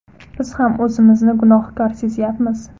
Biz ham o‘zimizni gunohkor sezyapmiz.